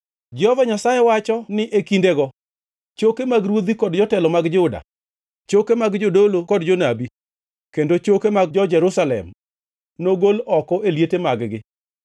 “ ‘Jehova Nyasaye wacho ni e kindego, choke mag ruodhi kod jotelo mag Juda, choke mag jodolo kod jonabi, kendo choke mag jo-Jerusalem nogol oko e liete mag-gi.